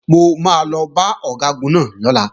Mo máa lọ bá Ọ̀gágun náà lọ́la